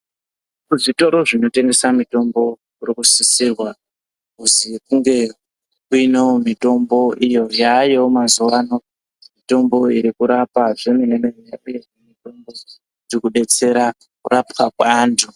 Muzvitoro zvinotengesa mitombo yakanasirwa iri kusisirwa kuti mitombo irikurapa zvemene mene irikubatsira kuchengeta vanhu.